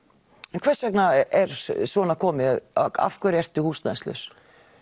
en hvers vegna er svona komið af hverju ertu húsnæðislaus